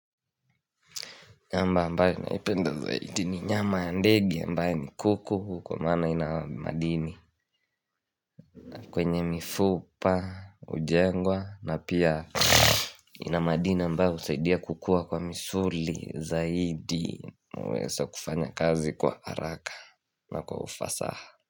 Nyama ambaye naipenda zaidi ni nyama ya ndege ambaye ni kuku kwa maana ina madini kwenye mifupa, hujengwa na pia ina madini ambayo husaidia kukua kwa misuli zaidi nauweze kufanya kazi kwa haraka na kwa ufasaha.